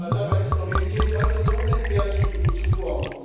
Dabei ist Mobilität heute so unentbehrlich wie nie zuvor.